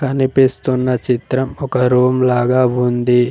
కనిపిస్తున్న చిత్రం ఒక రూమ్ లాగా ఉంది.